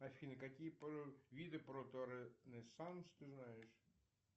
афина какие виды проторенессанс ты знаешь